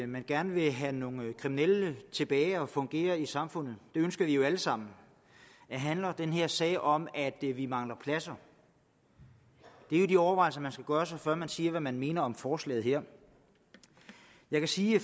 man gerne vil have nogle kriminelle tilbage at fungere i samfundet det ønsker vi jo alle sammen eller handler den her sag om at vi vi mangler pladser det er jo de overvejelser man skal gøre sig før man siger hvad man mener om forslaget her jeg kan sige